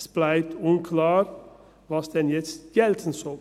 Es bleibt unklar, was denn jetzt gelten soll.